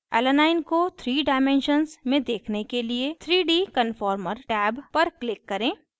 alanine alanine को 3 dimensions में देखने के लिए 3d conformer टैब पर click करें